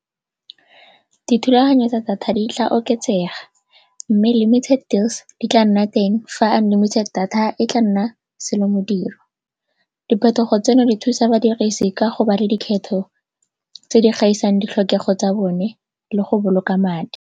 Dithulaganyo tsa data di tla oketsega mme limited deals di tla nna teng fa unlimited data e tla nna selomodiro. Diphetogo tseno di thusa badirisi ka go ba le dikgetho tse di gaisang ditlhokego tsa bone le go boloka madi.